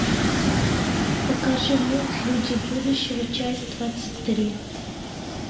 покажи мульт люди будущего часть двадцать три